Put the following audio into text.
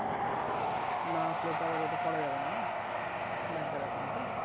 না আসলে তো আবার ওটা করা যাবে না না bank এর account টা